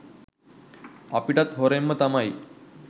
අපිටත් හොරෙන් තමයි